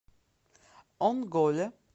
онголе